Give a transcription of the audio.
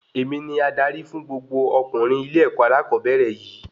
Èmi ní adarí fún gbogbo ọkunrin ilé-èkó alakobere yìí